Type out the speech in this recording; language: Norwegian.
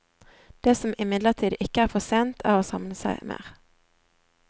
Det som imidlertid ikke er for sent, er å samle seg mer.